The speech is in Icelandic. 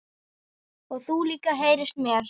Og þú líka heyrist mér